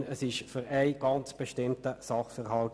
Vielmehr geht es hier um einen ganz bestimmten Sachverhalt.